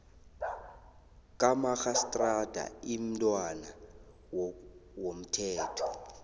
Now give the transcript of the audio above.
kamarhistrada imntwana womthetho